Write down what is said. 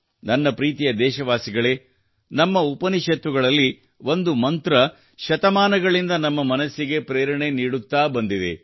ನನ್ನ ಪ್ರೀತಿಯ ದೇಶವಾಸಿಗಳೇ ನಮ್ಮ ಉಪನಿಷತ್ತುಗಳಲ್ಲಿ ಒಂದು ಮಂತ್ರ ಶತಮಾನಗಳಿಂದ ನಮ್ಮ ಮನಸ್ಸಿಗೆ ಪ್ರೇರಣೆ ನೀಡುತ್ತಾ ಬಂದಿದೆ